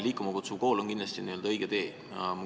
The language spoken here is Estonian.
"Liikuma kutsuv kool" on kindlasti õige tee.